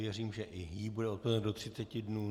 Věřím, že i jí bude odpovězeno do 30 dnů.